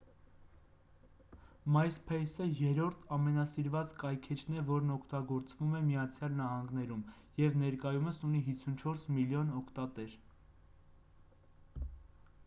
myspace-ը երրորդ ամենասիրված կայքէջն է որն օգտագործվում է միացյալ նահանգներում և ներկայումս ունի 54 միլիոն օգտատեր: